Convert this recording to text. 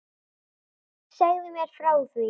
Segðu mér frá því.